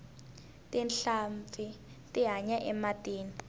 tinhlampfi ti hanya ematini